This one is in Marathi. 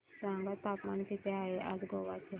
सांगा तापमान किती आहे आज गोवा चे